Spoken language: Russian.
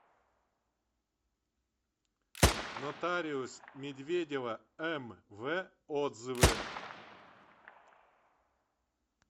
нотариус медведева мв отзывы